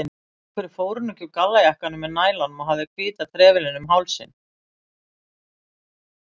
Af hverju fór hún ekki í gallajakkann með nælunum og hafði hvíta trefilinn um hálsinn?